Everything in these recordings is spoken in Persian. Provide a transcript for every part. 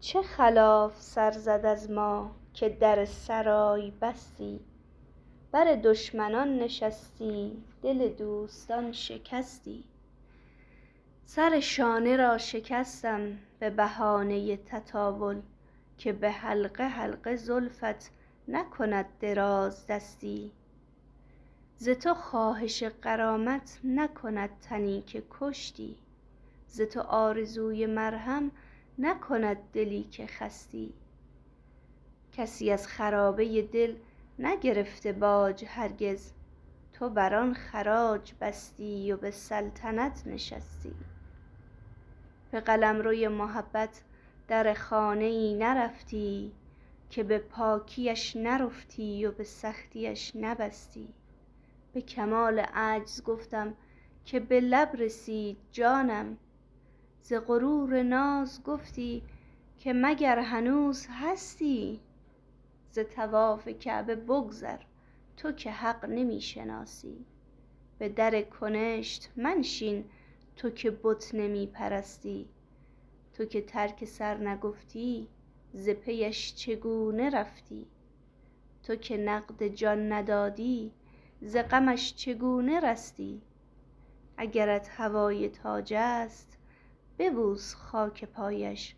چه خلاف سر زد از ما که در سرای بستی بر دشمنان نشستی دل دوستان شکستی سر شانه را شکستم به بهانه تطاول که به حلقه حلقه زلفت نکند درازدستی ز تو خواهش غرامت نکند تنی که کشتی ز تو آرزوی مرهم نکند دلی که خستی کسی از خرابه دل نگرفته باج هرگز تو بر آن خراج بستی و به سلطنت نشستی به قلمروی محبت در خانه ای نرفتی که به پاکی اش نرفتی و به سختی اش نبستی به کمال عجز گفتم که به لب رسید جانم ز غرور ناز گفتی که مگر هنوز هستی ز طواف کعبه بگذر تو که حق نمی شناسی به در کنشت منشین تو که بت نمی پرستی تو که ترک سر نگفتی ز پی اش چگونه رفتی تو که نقد جان ندادی ز غمش چگونه رستی اگرت هوای تاج است ببوس خاک پایش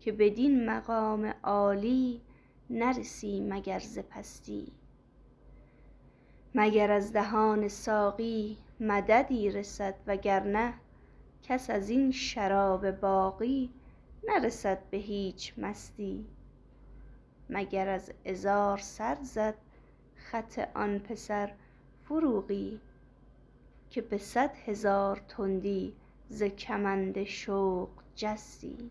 که بدین مقام عالی نرسی مگر ز پستی مگر از دهان ساقی مددی رسد وگرنه کس از این شراب باقی نرسد به هیچ مستی مگر از عذار سر زد خط آن پسر فروغی که به صد هزار تندی ز کمند شوق جستی